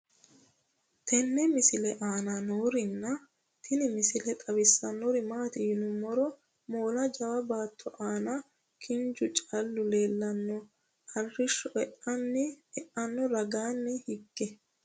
tenne misile aana noorina tini misile xawissannori maati yinummoro moolla jawa baatto aanna kinchchu caallu leellanno arishsho eanno ragaanni higge